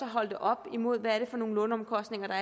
holde det op imod hvad det er for nogle låneomkostninger der